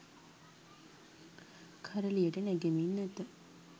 කරළියට නැගෙමින් ඇත.